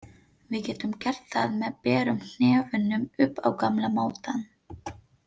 Við getum gert það með berum hnefunum upp á gamla mátann.